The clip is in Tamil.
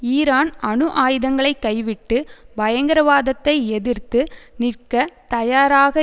ஈரான் அணு ஆயுதங்களை கைவிட்டு பயங்கரவாதத்தை எதிர்த்து நிற்கத் தயாராக